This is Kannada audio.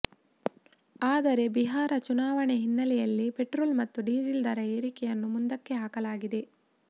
ಆದರೆ ಬಿಹಾರ ಚುನಾವಣೆ ಹಿನ್ನೆಲೆಯಲ್ಲಿ ಪೆಟ್ರೋಲ್ ಮತ್ತು ಡೀಸೆಲ್ ದರ ಏರಿಕೆಯನ್ನು ಮುಂದಕ್ಕೆ ಹಾಕಲಾಗಿದೆ